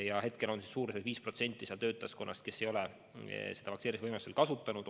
Praegu ei ole umbes 5% töötajaskonnast vaktsineerimisvõimalust kasutanud.